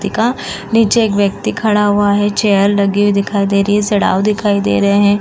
का नीचे एक व्यक्ति खड़ा हुआ हैं। चेयर लगी हुई दिखाई दे रही हैं। सड़ाओ दिखाई दे रहे हैं।